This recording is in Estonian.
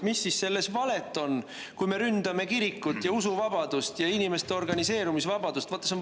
Mis siis selles valet on, kui me ründame kirikut ja usuvabadust ja inimeste organiseerumisvabadust?